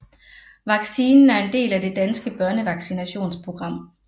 Vaccinen er en del af det danske børnevaccinationsprogram